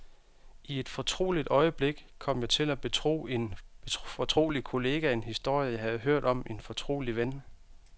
I et fortroligt øjeblik kom jeg til at betro en fortrolig kollega en historie, jeg havde hørt om en fortrolig ven.